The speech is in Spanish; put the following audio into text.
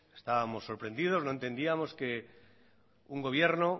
estábamos sorprendidos no entendíamos que un gobierno